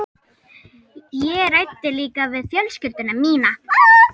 Ég ræddi líka við fjölskyldu mína.